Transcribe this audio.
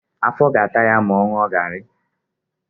Afọ a ga-ata ya ma ọ ṅụọ garị?